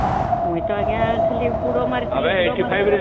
ମୁଇ ଟା ଆଂଜ୍ଞା ଖାଲି ବୁଡ଼ ମାରିକି